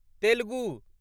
Telugu